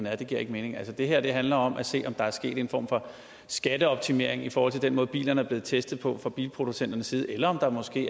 er det giver ikke mening altså det her handler om at se om der er sket en form for skatteoptimering i forhold til den måde bilerne er blevet testet på fra bilproducenternes side eller om der måske